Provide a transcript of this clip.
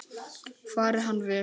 Fari hann vel.